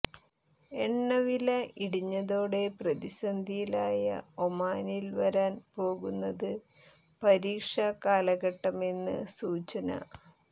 എണ്ണ വില ഇടിഞ്ഞതോടെ പ്രതിസന്ധിയിലായ ഒമാനിൽ വരാൻ പോകുന്നത് പരീക്ഷ കാലഘട്ടമെന്ന് സൂചന